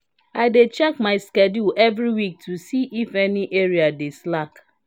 i dey check my schedule every week to see if any area dey slack.